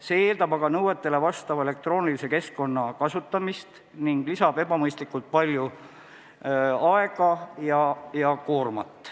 See eeldab aga nõuetele vastava elektroonilise keskkonna kasutamist ning võtab ebamõistlikult palju aega ja suurendab koormust.